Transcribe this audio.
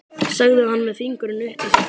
sagði hann með fingurinn uppi í sér.